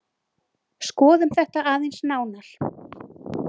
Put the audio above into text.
Skoðum þetta aðeins nánar.